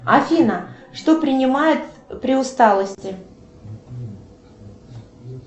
афина что принимают при усталости